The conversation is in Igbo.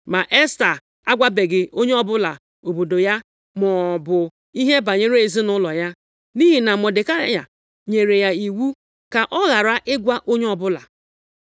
Ma Esta agwabeghị onye ọbụla obodo ya maọbụ ihe banyere ezinaụlọ ya, nʼihi na Mọdekai nyere ya iwu ka ọ ghara ịgwa onye ọbụla.